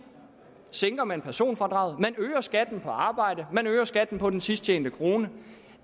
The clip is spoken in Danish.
sænker man personfradraget man øger skatten på arbejde man øger skatten på den sidst tjente krone